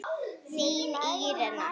Þín Írena.